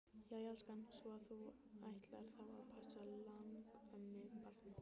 Jæja elskan, svo að þú ætlar þá að passa langömmubarnið?